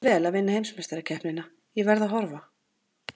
Gangi þér vel að vinna heimsmeistarakeppnina, ég verð að horfa.